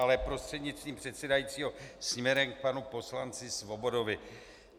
Ale prostřednictvím předsedajícího směrem k panu poslanci Svobodovi.